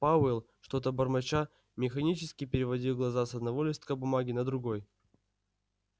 пауэлл что-то бормоча механически переводил глаза с одного листка бумаги на другой